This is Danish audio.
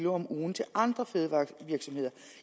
om ugen til andre fødevarevirksomheder